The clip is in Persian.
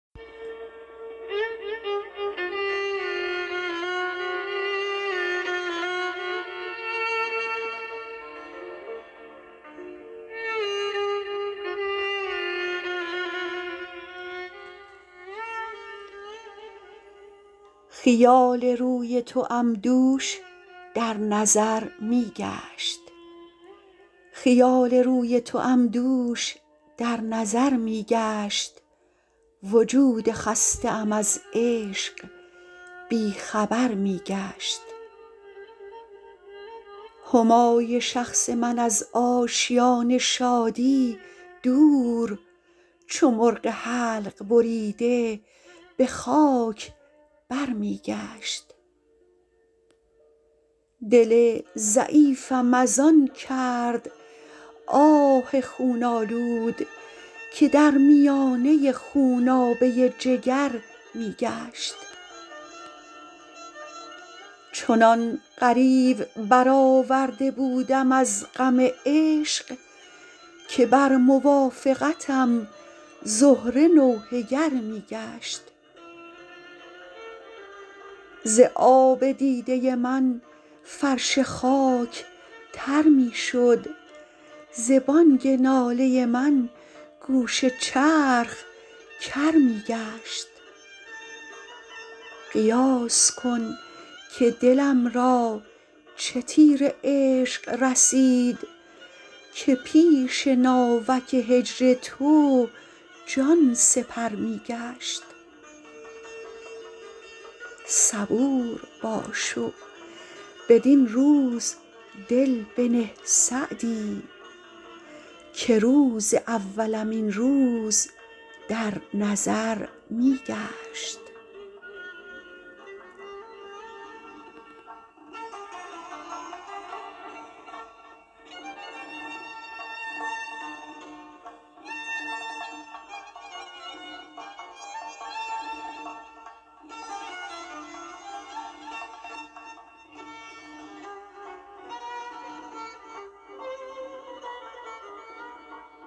خیال روی توام دوش در نظر می گشت وجود خسته ام از عشق بی خبر می گشت همای شخص من از آشیان شادی دور چو مرغ حلق بریده به خاک بر می گشت دل ضعیفم از آن کرد آه خون آلود که در میانه خونابه جگر می گشت چنان غریو برآورده بودم از غم عشق که بر موافقتم زهره نوحه گر می گشت ز آب دیده من فرش خاک تر می شد ز بانگ ناله من گوش چرخ کر می گشت قیاس کن که دلم را چه تیر عشق رسید که پیش ناوک هجر تو جان سپر می گشت صبور باش و بدین روز دل بنه سعدی که روز اولم این روز در نظر می گشت